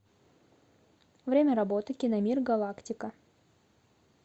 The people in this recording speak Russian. время работы киномир галактика